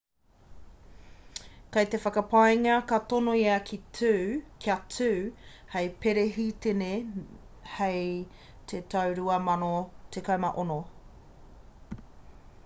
kei te whakapaengia ka tono ia kia tū hei perehitene hei te tau 2016